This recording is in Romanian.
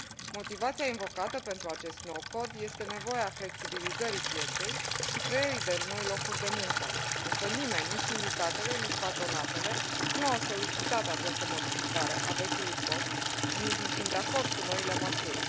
Motivația invocată pentru acest nou Cod este nevoia flexibilizării pieței și creării de noi locuri de muncă, însă nimeni, nici sindicatele, nici patronatele, nu au solicitat această modificare a vechiului Cod și nici nu sunt de acord cu noile măsuri.